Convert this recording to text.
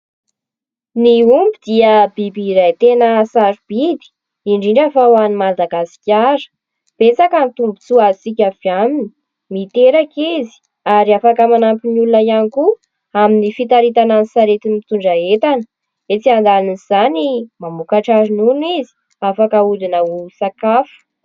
Ny omby dia biby iray tena sarobidy, indrindra fa ho an'i Madagasikara. Betsaka ny tombotsoa azotsika avy aminy : miteraka izy ary afaka manampy ny olona ihany koa amin'ny fitaritana ny sarety mitondra entana. Etsy andanin'izany, mamokatra ronono izy afaka aodina ho sakafo.